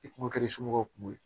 I kun kɛra i somɔgɔw kun ye